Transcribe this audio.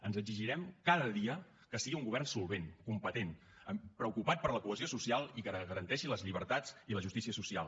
ens exigirem cada dia que sigui un govern solvent competent preocupat per la cohesió social i que garanteixi les llibertats i la justícia social